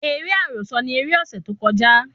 Eré àròsọ ni eré ọ̀sẹ̀ tó kọjá